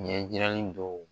Ɲɛjirali dɔw